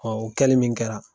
o kɛli min kɛra.